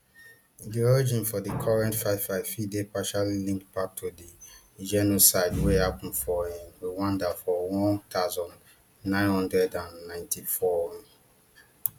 di origin for di current fightfight fit dey partially linked back to di genocide wey happun for um rwanda for one thousand, nine hundred and ninety-four um